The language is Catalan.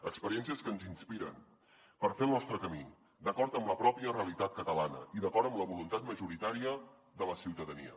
experiències que ens inspiren per fer el nostre camí d’acord amb la pròpia realitat catalana i d’acord amb la voluntat majoritària de la ciutadania